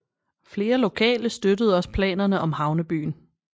Flere lokale støttede også planerne om havnebyen